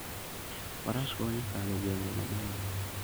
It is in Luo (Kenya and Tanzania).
Faras konyo e kalo gwenge maboyo.